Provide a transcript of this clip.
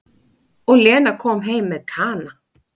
Og Lena kom heim með Kana.